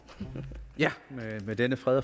for